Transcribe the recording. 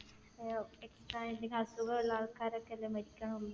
ഏർ extra എന്തെങ്കിലും അസുഖം ഉള്ള ആൾക്കാരൊക്കെയല്ലേ മരിക്കണുള്ളൂ.